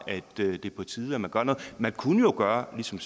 det er på tide man gør noget vi kunne jo gøre ligesom